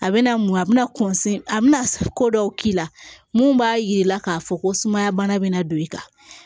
A bɛna mun a bɛna a bɛna ko dɔw k'i la mun b'a yir'i la k'a fɔ ko sumaya bana bɛna don i kan